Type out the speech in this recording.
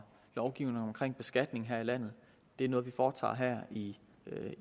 lovgivningen omkring beskatning her i landet er noget vi foretager her i